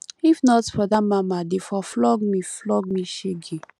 if not for dat mama dey for flog me flog me shege